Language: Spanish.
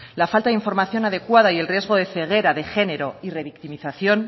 la falta de información adecuada y el riesgo de ceguera de género y revictimización